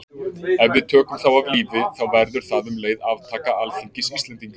Ef við tökum þá af lífi þá verður það um leið aftaka alþingis Íslendinga.